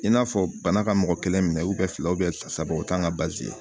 I n'a fɔ bana ka mɔgɔ kelen minɛ fila saba o t'an ka